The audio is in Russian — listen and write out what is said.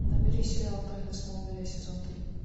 набери сериал тайны смолвиля сезон три